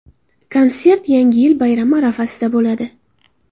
Konsert Yangi yil bayrami arafasida bo‘ladi.